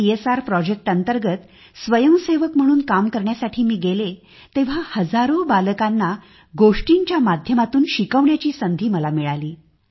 CSR project अंतर्गत स्वयंसेवक म्हणून काम करण्यासाठी मी गेले तेव्हा हजारो बालकांना गोष्टींच्या माध्यमातून शिकवण्याची संधी मला मिळाली